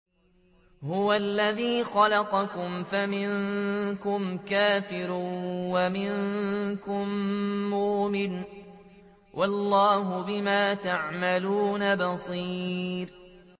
هُوَ الَّذِي خَلَقَكُمْ فَمِنكُمْ كَافِرٌ وَمِنكُم مُّؤْمِنٌ ۚ وَاللَّهُ بِمَا تَعْمَلُونَ بَصِيرٌ